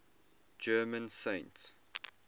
german saints